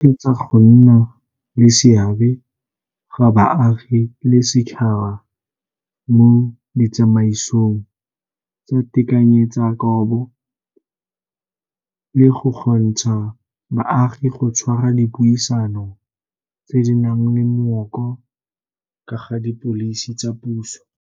e tshegetsa go nna le seabe ga baagi le setšhaba mo ditsamaisong tsa tekanyetsokabo le go kgontsha baagi go tshwara dipuisano tse di nang le mooko ka ga dipholisi tsa puso.